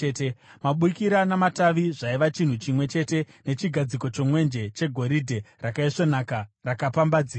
Mabukira namatavi zvaiva chinhu chimwe chete nechigadziko chomwenje, chegoridhe rakaisvonaka rakapambadzirwa.